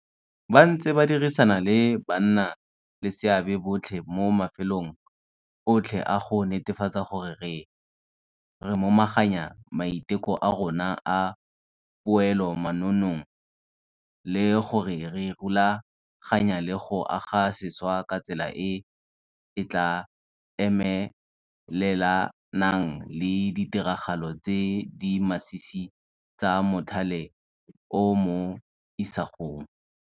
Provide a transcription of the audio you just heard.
Ba ntse ba dirisana le bannaleseabe botlhe mo mafelong otlhe a go netefatsa gore re momaganya maiteko a rona a poelomannong le gore re rulaganya le go aga sešwa ka tsela e e tla emelelanang le ditiragalo tse di masisi tsa mothale o mo isagong.